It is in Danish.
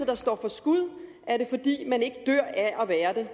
der står for skud er det fordi man ikke dør af at være det